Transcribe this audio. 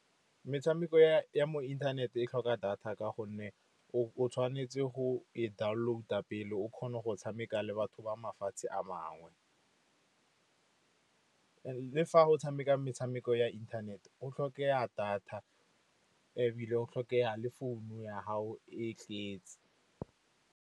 Metshameko ya mo inthaneteng e tlhoka data, ka gonne o tshwanetse go e download-a pele o kgona go tshameka le batho ba mafatshe a mangwe. Le fa o tshameka metshameko ya inthanete, go tlhokega data, ebile go tlhokega le founu ya gago e tletse.